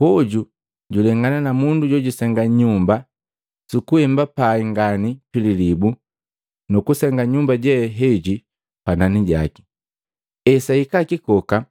Hoju julengana na mundu, jojusenga nyumba, sukuhemba pai ngani pililibu, nukusenga nyumba je heji panani jaki. Esahika kikoka